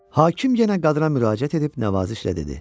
Hakim yenə qadına müraciət edib nəvazişlə dedi: